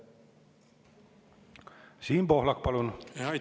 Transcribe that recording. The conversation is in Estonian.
Siim Pohlak, palun!